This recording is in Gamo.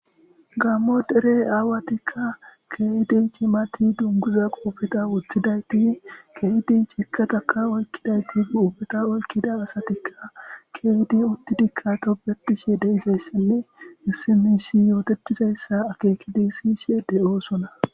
gammo dere aawatikka keedi cimati dunguza qoofeta woththidayti keedi cikataka oykkidayti qoofeta oykida asatikka keydi uttidikkatobetishe deizayssenne issimisi yootechizayssa akeekidisishe de7oosona